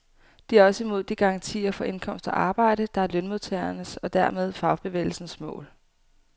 De er også imod de garantier for indkomst og arbejde, der er lønmodtagernes og dermed fagbevægelsens mål.